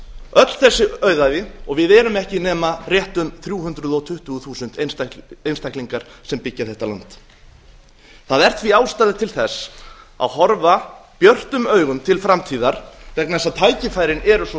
öll þessi auðæfi og við erum ekki nema rétt um þrjú hundruð tuttugu þúsund einstaklingar sem byggja þetta land það er því ástæða til þess að horfa björtum augum til framtíðar vegna þess að tækifærin eru svo